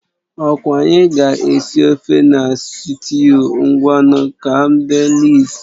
Ọkwa anyị ga-esi ofe na sịtịụ, ngwanu ka m dee lịist